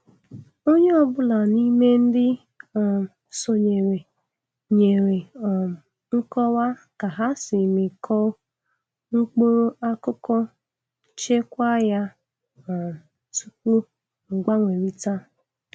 Onye ọbula n'ime ndị um sonyere nyere um nkọwa ka ha si mịkoo mkpụrụ akụkụ chekwaa ya um tupu mgbanwerịta.